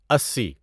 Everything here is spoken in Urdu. اسی